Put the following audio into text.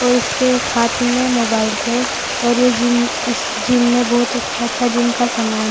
और इसके एक हाथ में मोबाइल है और ये जिम इस जिम में बोहोत अच्छा अच्छा जिम का सामान --